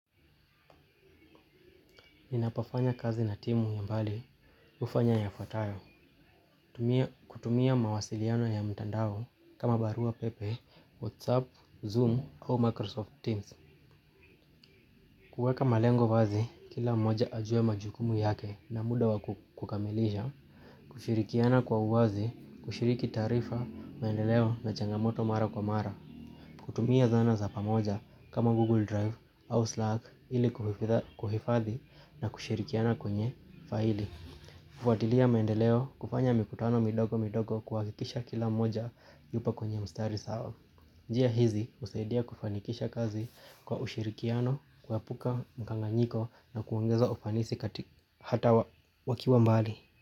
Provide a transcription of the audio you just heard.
Ninapofanya kazi na timu ya mbali hufanya yafuatayo. Kutumia mawasiliano ya mtandao kama barua pepe, Whatsapp, Zoom au Microsoft Teams. Kuweka malengo wazi kila mmoja ajue majukumu yake na muda wa kukamilisha. Kushirikiana kwa uwazi, kushiriki taarifa, maendeleo na changamoto mara kwa mara. Kutumia zana za pamoja kama Google Drive au Slack ili kuhifadhi na kushirikiana kwenye faili. Kufuatilia maendeleo kufanya mikutano midogo midogo kuhakikisha kila mmoja yupo kwenye mstari sawa. Njia hizi husaidia kufanikisha kazi kwa ushirikiano kuepuka mkanganyiko na kuongeza ufanisi hata wakiwa mbali.